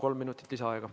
Kolm minutit lisaaega.